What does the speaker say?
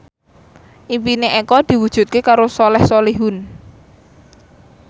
impine Eko diwujudke karo Soleh Solihun